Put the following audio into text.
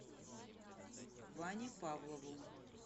ване павлову